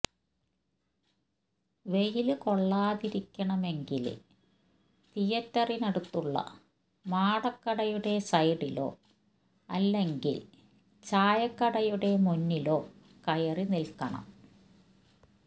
വെയിലു കൊള്ളാതിരിക്കണമെങ്കില് തിയറ്ററിനടുത്തുള്ള മാടക്കടയുടെ സൈഡിലോ അല്ലെങ്കില് ചായക്കടയുടെ മുന്നിലോ കയറി നില്ക്കണം